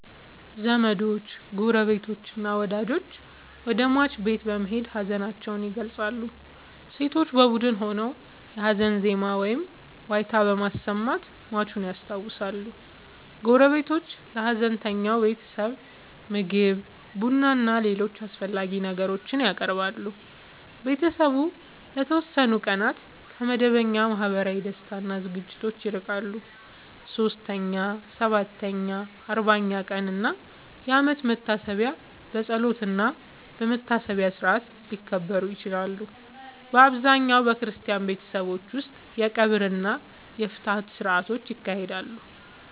ዘመዶች፣ ጎረቤቶችና ወዳጆች ወደ ሟች ቤት በመሄድ ሀዘናቸውን ይገልጻሉ። ሴቶች በቡድን ሆነው የሀዘን ዜማ ወይም ዋይታ በማሰማት ሟቹን ያስታውሳሉ። ጎረቤቶች ለሀዘንተኛው ቤተሰብ ምግብ፣ ቡናና ሌሎች አስፈላጊ ነገሮችን ያቀርባሉ። ቤተሰቡ ለተወሰኑ ቀናት ከመደበኛ ማህበራዊ ደስታ እና ዝግጅቶች ይርቃል። 3ኛ፣ 7ኛ፣ 40ኛ ቀን እና የአመት መታሰቢያ በጸሎትና በመታሰቢያ ሥርዓት ሊከበሩ ይችላሉ። በአብዛኛው በክርስቲያን ቤተሰቦች ውስጥ የቀብር እና የፍትሐት ሥርዓቶች ይካሄዳሉ።